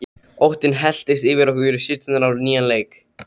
Óttinn helltist yfir okkur systur á nýjan leik.